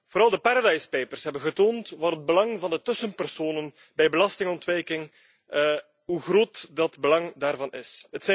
Vooral de Paradise papers hebben getoond hoe groot het belang van de tussenpersonen bij belastingontwijking is.